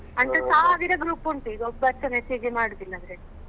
ಅಂತದ್ದು ಸಾವಿರ group ಉಂಟು ಈಗ ಒಬ್ಬರುಸ message ಮಾಡುದಿಲ್ಲ ಅದ್ರಲ್ಲಿ.